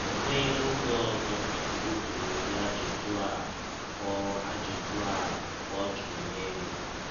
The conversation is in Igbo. Ọ nweela ọge ọzọ Nwachụkwụ jụrụ ụdị ajụjụ a ọ ajụjụ a ọ jụrụ n’elụ.